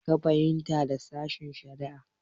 Me ka fahimta da sashen-shari'a?